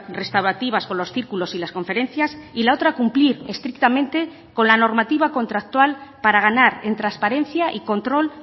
restaurativas con los círculos y las conferencias y la otra cumplir estrictamente con la normativa contractual para ganar en transparencia y control